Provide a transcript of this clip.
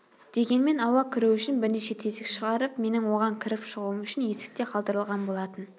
дегенмен ауа кіру үшін бірнеше тесік шығарып менің оған кіріп шығуым үшін есік те қалдырылған болатын